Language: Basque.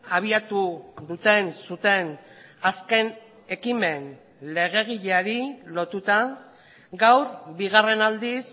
abiatu duten zuten azken ekimen legegileari lotuta gaur bigarren aldiz